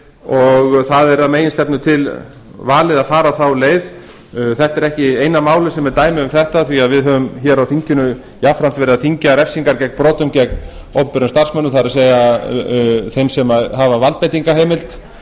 og það er að meginstefnu til valið að fara þá leið þetta er ekki eina málið sem er ætti um þetta því að við höfum á þinginu jafnframt verið að þyngja refsingar gegn brotum gegn ofberum starfsmönnum það er þeim sem hafa valdbeitingarheimild